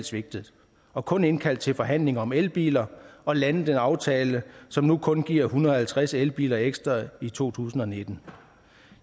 svigtet og kun indkaldt til forhandlinger om elbiler og landet en aftale som nu kun giver en hundrede og halvtreds elbiler ekstra i to tusind og nitten